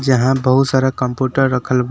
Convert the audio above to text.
यहां बहुत सारा कंप्यूटर रखल बा।